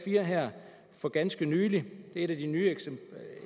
har her for ganske nylig i et af de nyere